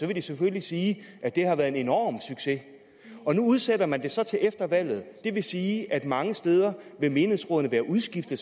vil de selvfølgelig sige at det har været en enorm succes og nu udsætter man det så til efter valget det vil sige at mange steder vil menighedsrådene være udskiftet